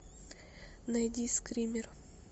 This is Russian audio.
найди скример